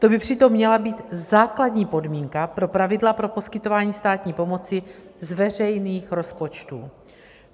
To by přitom měla být základní podmínka pro pravidla pro poskytování státní pomoci z veřejných rozpočtů.